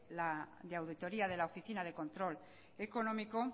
auditoría de la oficina de control económico